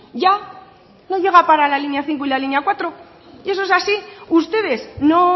ya no llega para la línea cinco y la línea cuatro y eso es así ustedes no